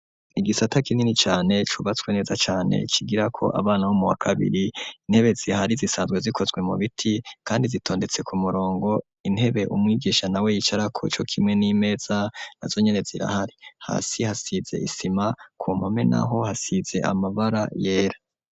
Igisata kinini cane cubatswe neza cane cigirako abana bo muwa kabiri intebe zihari zisanzwe zikozwe mu biti kandi zitondetse ku murongo intebe umwigisha nawe yicarako co kimwe n'imeza nazo nyene zirahari hasi hasize isima ku mpome naho hasize amabara yera.